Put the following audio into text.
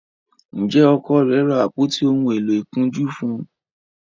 njé Ọkọ rẹ ra àpótí òún èló ìkunjú fún?